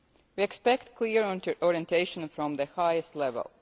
We expect clear orientation from the highest level.